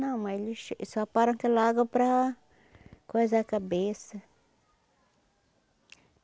Não, mas eles só param aquela água para coisar a cabeça.